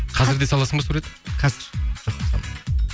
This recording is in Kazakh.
қазір де саласың ба сурет қазір